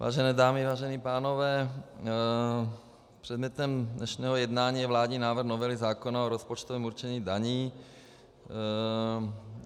Vážené dámy, vážení pánové, předmětem dnešního jednání je vládní návrh novely zákona o rozpočtovém určení daní.